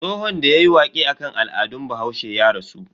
Tsohon da yayi waƙe akan al'adun bahaushe ya rasu.